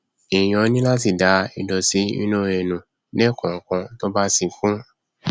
èèyàn ní láti da ìdọtí inú ẹ nù lẹẹkọọkan tó bá ti kún